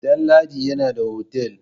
Damladi yana da otal.